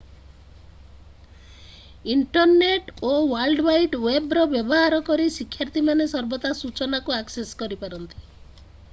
Internet ଓ world wide ୱେବ୍‌ର ବ୍ୟବହାର କରି ଶିକ୍ଷାର୍ଥୀମାନେ ସର୍ବଦା ସୂଚନାକୁ ଆକ୍ସେସ୍ କରିପାରନ୍ତି।